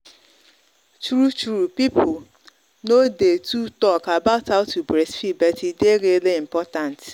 true true people no day too talk about how to breastfeed but e day really important